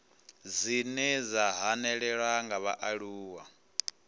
dzine dza hanelelwa nga vhaaluwa